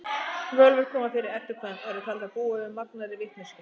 Völvur koma fyrir í eddukvæðum og eru taldar búa yfir magnaðri vitneskju.